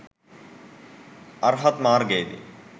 අර්හත් මාර්ගයේදී